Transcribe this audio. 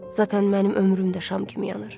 Zatən mənim ömrüm də şam kimi yanır.